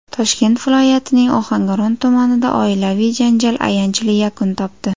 Toshkent viloyatining Ohangaron tumanida oilaviy janjal ayanchli yakun topdi.